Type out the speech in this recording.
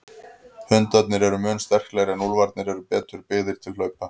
Hundarnir eru mun sterklegri en úlfarnir eru betur byggðir til hlaupa.